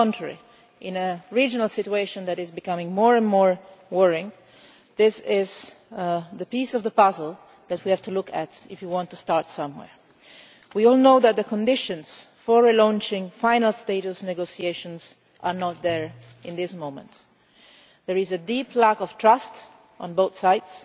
On the contrary, in a regional situation which is becoming increasingly worrying, this is the piece of the puzzle that we have to look at if we want to start somewhere. We all know that the conditions for relaunching final status negotiations are not in place at this moment. There is a deep lack of trust on both sides